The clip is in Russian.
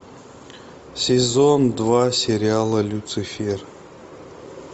сезон два сериала люцифер